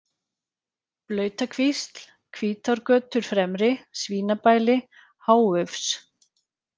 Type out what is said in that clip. Blautakvísl, Hvítárgötur fremri, Svínabæli, Háufs